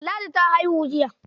Ladi ta haihi jiya.